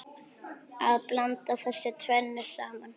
Að blanda þessu tvennu saman.